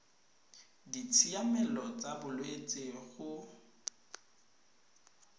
ditshiamelo tsa bolwetsi go uif